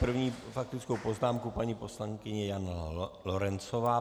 První faktickou poznámku paní poslankyně Jana Lorencová.